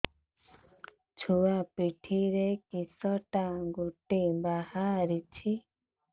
ଛୁଆ ପିଠିରେ କିଶଟା ଗୋଟେ ବାହାରିଛି